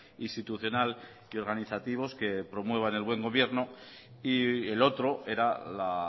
institucional y organizativos que promuevan el buen gobierno y el otro era la